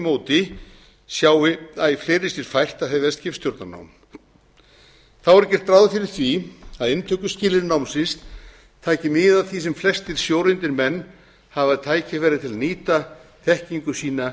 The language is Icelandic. móti sjái æ fleiri sér fært að hefja skipstjórnarnám þá er gert ráð fyrir því að inntökuskilyrði námsins taki mið af því að sem flestir sjóreyndir menn hafi tækifæri á að nýta þekkingu sína